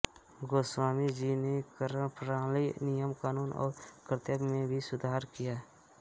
गोस्वामी जी ने करप्रणाली नियमकानून और कर्तव्य में भी सुधार किया